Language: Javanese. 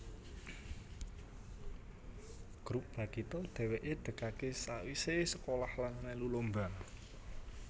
Grup Bagito dheweke degake sawisé sekolah lan mèlu lomba